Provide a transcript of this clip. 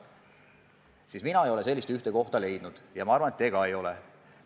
Mina olen otsinud, aga ei ole sellist ühte kohta leidnud, ja ma arvan, et teie ka ei ole.